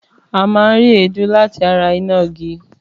Àmá ń ri édù làtá rà ìnágí.